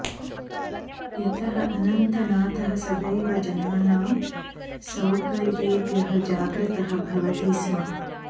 यतः अनन्तनाथः सदैव जनानां सौकर्येभ्यः जाग्रतः भवति स्म